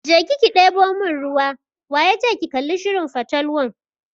Je ki deɓo mun ruwa!waya ce ki kalli shirin fatalwan.